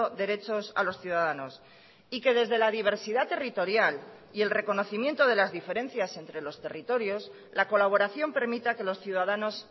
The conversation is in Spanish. derechos a los ciudadanos y que desde la diversidad territorial y el reconocimiento de las diferencias entre los territorios la colaboración permita que los ciudadanos